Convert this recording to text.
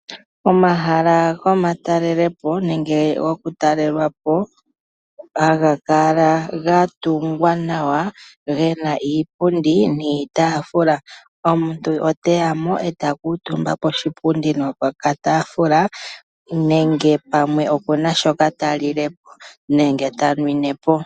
Omahala gokutalelwapo haga kala gatungwa nawa gena iipundi niitaafula omuntu oheya mo eta kuutumba koshipundi noshitafula uuna ena shoka talilepo nenge tanwinepo.